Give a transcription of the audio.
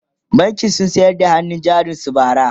bankin sun sayar da hannun jarin su bara